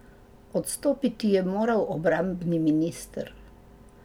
Odstopiti je moral obrambni minister.